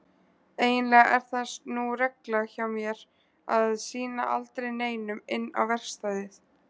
Eiginlega er það nú regla hjá mér að sýna aldrei neinum inn á verkstæðið.